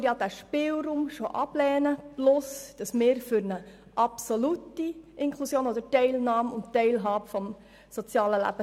Dies, weil wir den erwähnten Spielraum ablehnen sowie angesichts dessen, dass wir uns für eine absolute Inklusion aussprechen, nämlich für eine Teilnahme und eine Teilhabe am sozialen Leben.